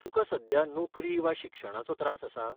तुका सध्या नोकरी वा शिक्षणाचो त्रास आसा?